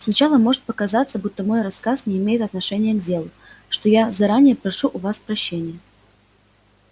сначала может показаться будто мой рассказ не имеет отношения к делу за что я заранее прошу у вас прощения